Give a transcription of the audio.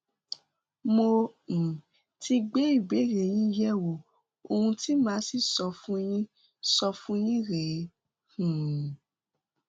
mo um ti gbé ìbéèrè yín yẹwò ohun tí màá sì sọ fún yín sọ fún yín rèé um